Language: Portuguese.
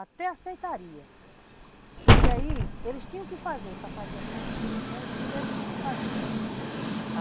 até aceitaria, porque aí eles tinham que fazer para fazer essa transposição, eles primeiro tinham que fazer.